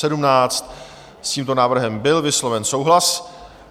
S tímto návrhem byl vysloven souhlas.